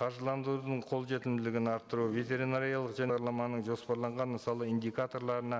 қаржыландырудың қолжетімділігін арттыру ветеринариялық жоспарланған мысалы индикаторларына